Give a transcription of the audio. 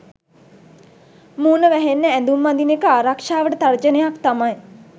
මූණ වැහෙන්න ඇඳුම් අඳින එක ආරක්ෂාවට තර්ජනයක් තමයි